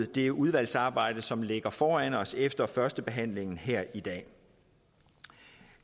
det udvalgsarbejde som ligger foran os efter førstebehandlingen her i dag